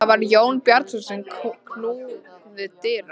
Það var Jón Bjarnason sem knúði dyra.